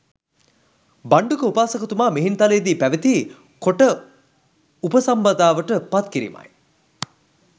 භණ්ඩුක උපාසකතුමා මිහින්තලේ දී පැවිදි කොට උපසම්පදාවට පත් කරීමයි.